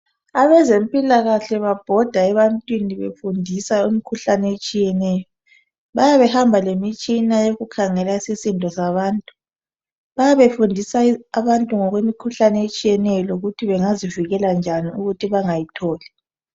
Abezempilakahle babhoda ebantwini befundisa imkhuhlane etshiyeneyo, bayabe behamba lemitshina yokukhangela isisindo sabantu. Bayabe fundisa abantu ngokwemikhuhlane etshiyeneyo lokuthi bengazivikela njani ukuthi bengayitholi.